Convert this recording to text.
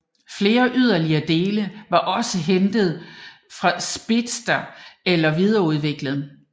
Flere yderligere dele var også hentet fra Speedster eller videreudviklet